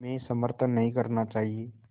में समर्थन नहीं करना चाहिए